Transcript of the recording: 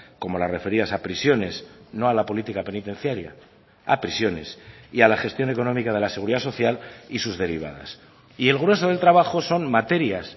como las referidas a prisiones no a la política penitenciaria a prisiones y a la gestión económica de la seguridad social y sus derivadas y el grueso del trabajo son materias